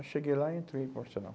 Eu cheguei lá e entrei para o Arsenal.